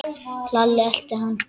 Lalli elti hann.